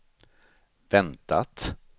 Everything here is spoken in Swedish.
väntat